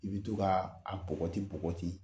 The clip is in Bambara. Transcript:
I be to kaa a bɔgɔti bɔgɔti.